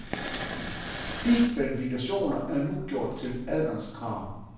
De kvalifikationer er nu gjort til adgangskrav.